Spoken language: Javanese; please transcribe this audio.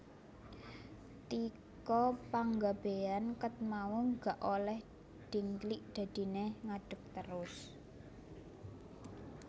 Tika Panggabean ket mau gak oleh dingklik dadine ngadeg terus